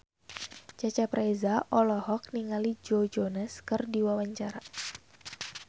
Cecep Reza olohok ningali Joe Jonas keur diwawancara